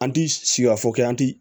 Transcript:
An ti sika fɔ k'i an ti